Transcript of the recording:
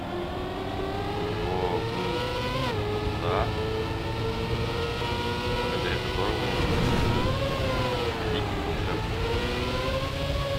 у него был дар благодаря которому он становился великим волшебником